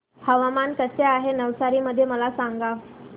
हवामान कसे आहे नवसारी मध्ये मला सांगा